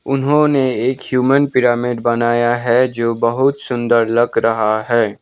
उन्होंने एक human pyramid बनाया है जो बहुत सुंदर लग रहा है।